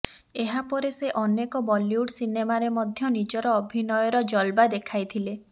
ଏହାପରେ ସେ ଅନେକ ବଲିଉଡ ସିନେମାରେ ମଧ୍ୟ ନିଜର ଅଭିନୟର ଜଲବା ଦେଖାଇଥିଲେ